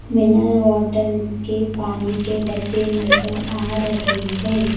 Mineral water के पानी के डब्बे नजर आ रहे हैं।